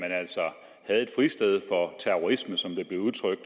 jeg et fristed for terrorisme som det blev udtrykt